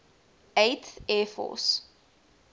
eighth air force